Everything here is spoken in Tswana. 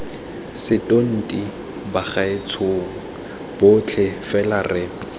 setonti bagaetshong botlhe fela re